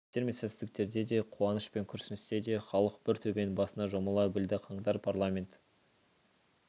жеңістер мен сәтсіздіктерде де қуаныш пен күрсіністе де халық бір төбенің басына жұмыла білді қаңтар парламент